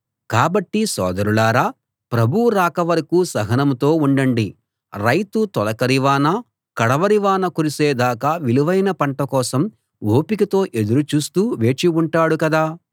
కాబట్టి సోదరులారా ప్రభువు రాక వరకూ సహనంతో ఉండండి రైతు తొలకరి వాన కడవరి వాన కురిసే దాకా విలువైన పంట కోసం ఓపికతో ఎదురు చూస్తూ వేచి ఉంటాడు కదా